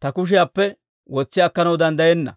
ta kushiyaappe wotsi akkanaw danddayenna.